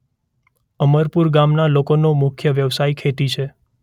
અમરપુર ગામના લોકોનો મુખ્ય વ્યવસાય ખેતી છે.